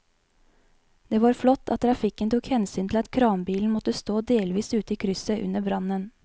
Det var flott at trafikken tok hensyn til at kranbilen måtte stå delvis ute i krysset under brannen.